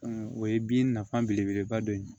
o ye bin nafa belebeleba dɔ ye